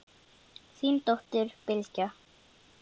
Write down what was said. Þín dóttir, Bylgja.